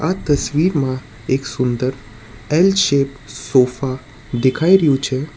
આ તસવીરમાં એક સુંદર એલ શેપ સોફા દેખાઈ રહ્યું છે.